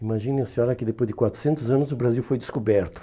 Imaginem a senhora que depois de quatrocentos anos o Brasil foi descoberto.